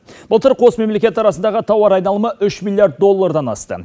былтыр қос мемлекет арасындағы тауар айналымы үш миллиард доллардан асты